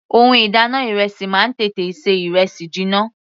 Ohun ìdáná ìrẹsì máa ń tètè ṣe ìrẹsì jiná.